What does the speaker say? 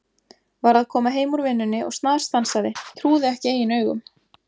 Var að koma heim úr vinnunni og snarstansaði, trúði ekki eigin augum.